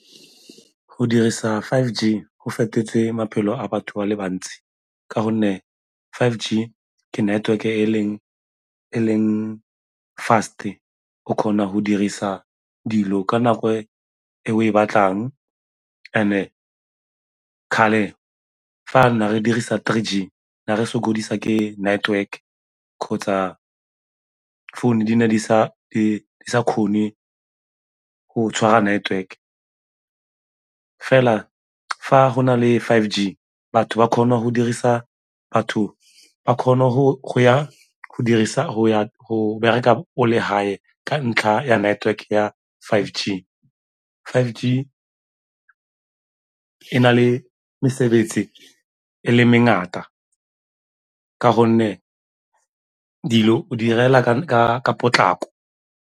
Go dirisa five G go fetotse maphelo a batho ba le bantsi ka gonne five G ke network-e e leng fast-e, o kgona go dirisa dilo ka nako e o e batlang and-e kgale fa ne re dirisa three G na re sokodisa ke network kgotsa founu di ne di sa kgone go tshwara network. Fela, fa go na le five G batho ba kgona go bereka o le gae ka ntlha ya network ya five G. Five G e na le mesebetsi e le mengata ka gonne dilo o di 'irela ka potlako.